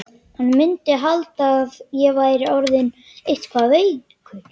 Hann mundi halda að ég væri orðinn eitthvað veikur.